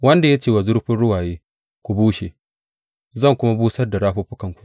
wanda ya ce wa zurfin ruwaye, Ku bushe, zan kuma busar da rafuffukanku,’